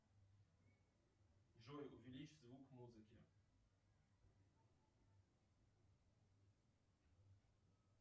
джой увеличь звук музыки